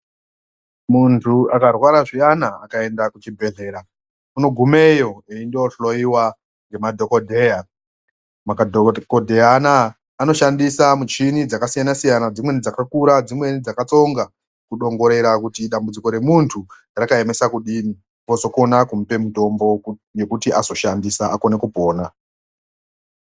Muntu akarwara zviyana akenda kuzvibhedhlera unogumeyo eindohloiwa ngemadhokodheya makadhokodheya anaya anoshandisa muchini dzakasiyana siyana dzimweni dzakakura dzimweni dzakatsonga kudongorera kuti dambudziko remuntu rakaemesa kudini vozokona kumupe mutombo kunekuti azoshandisa aone kupona.